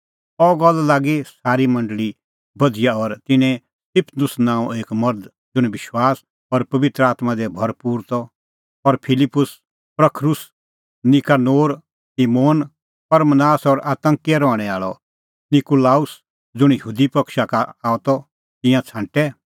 अह गल्ल लागी सारी मंडल़ी बधिया और तिन्नैं स्तिफनुस नांओं एक मर्ध ज़ुंण विश्वास और पबित्र आत्मां दी भरपूर त और फिलिप्पुस प्रखरुस नीकानोर तिमोन परमनास और अन्ताकिया रहणैं आल़अ निकूलाऊस ज़ुंण यहूदी पक्षा का आअ त तिंयां छ़ांटै